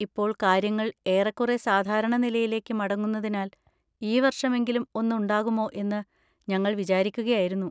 ഇപ്പോൾ കാര്യങ്ങൾ ഏറേക്കുറെ സാധാരണ നിലയിലേക്ക് മടങ്ങുന്നതിനാൽ, ഈ വർഷമെങ്കിലും ഒന്ന് ഉണ്ടാകുമോ എന്ന് ഞങ്ങൾ വിചാരിക്കുകയായിരുന്നു.